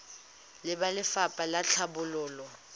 le ba lefapha la tlhabololo